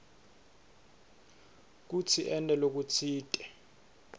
kutsi ente lokutsite